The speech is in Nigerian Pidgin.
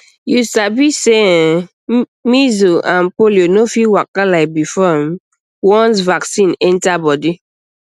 you sabi um sey measles and polio no fit waka like before um once vaccine enter body